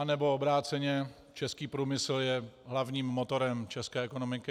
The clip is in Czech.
Anebo obráceně, český průmysl je hlavním motorem české ekonomiky.